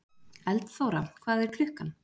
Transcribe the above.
Eldþóra, hvað er klukkan?